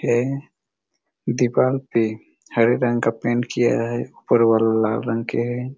--है दीपल पे हरे रंग का पेंट किया है और वॉल लाल रंग के है।